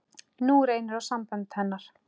Nú reyndi á sambönd hennar.